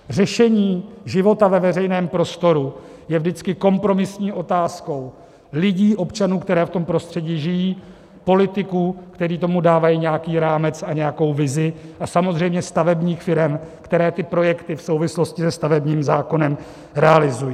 Řešení života ve veřejném prostoru je vždycky kompromisní otázkou lidí, občanů, kteří v tom prostředí žijí, politiků, kteří tomu dávají nějaký rámec a nějakou vizi, a samozřejmě stavebních firem, které ty projekty v souvislosti se stavebním zákonem realizují.